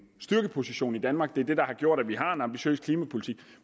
styrkeposition i danmark det er det der har gjort at vi har en ambitiøs klimapolitik